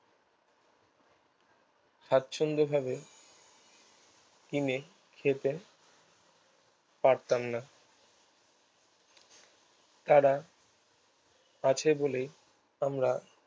সাচ্ছন্দ ভাবে কিনে খেতে পারতাম না তারা আছে বলেই আমরা